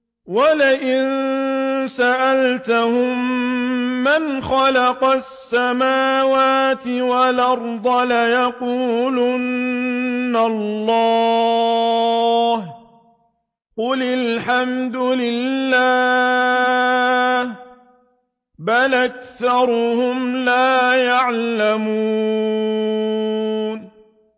وَلَئِن سَأَلْتَهُم مَّنْ خَلَقَ السَّمَاوَاتِ وَالْأَرْضَ لَيَقُولُنَّ اللَّهُ ۚ قُلِ الْحَمْدُ لِلَّهِ ۚ بَلْ أَكْثَرُهُمْ لَا يَعْلَمُونَ